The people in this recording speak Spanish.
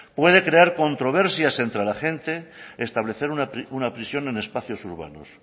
puede crear controversias entre la gente establecer una prisión en espacios urbanos